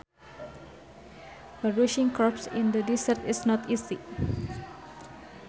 Producing crops in the deserts is not easy